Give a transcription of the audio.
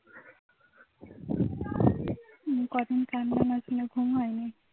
কদিন আছে না ঘুম হয়নি